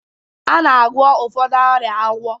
A na-agwọ ụfọdụ ọrịa agwọ